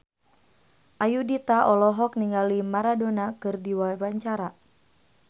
Ayudhita olohok ningali Maradona keur diwawancara